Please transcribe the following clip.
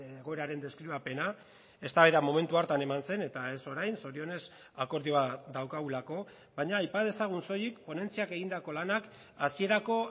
egoeraren deskribapena eztabaida momentu hartan eman zen eta ez orain zorionez akordioa daukagulako baina aipa dezagun soilik ponentziak egindako lanak hasierako